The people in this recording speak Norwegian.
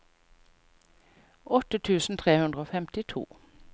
åtte tusen tre hundre og femtito